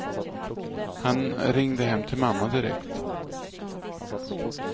Han ringde hem till mamma direkt.